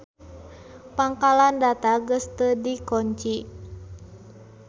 Pangkalan data geus teu dikonci.